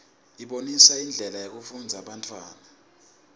ibonisa indlela yekufundzisa bantfwana